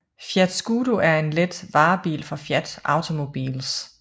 Fiat Scudo er en let varebil fra Fiat Automobiles